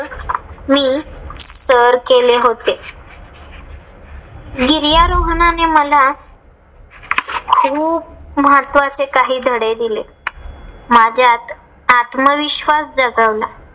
मी सर केले होते. गिर्यारोहनाणे मला खूप महत्वाचे काही धडे दिले. माझ्यात आत्मविश्वास जागवला.